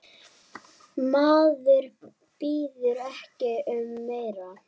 Maður biður ekki um meira.